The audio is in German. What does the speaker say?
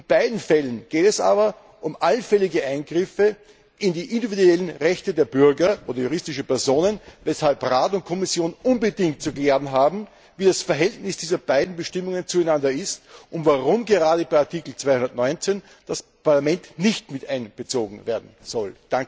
In beiden Fällen geht es aber um allfällige Eingriffe in die individuellen Rechte der Bürger oder von juristischen Personen, weshalb Rat und Kommission unbedingt zu klären haben, wie das Verhältnis dieser beiden Bestimmungen zueinander ist und warum gerade bei Artikel 215 das Parlament nicht mit einbezogen werden soll.